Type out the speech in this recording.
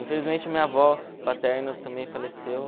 Infelizmente, minha avó paterna também faleceu.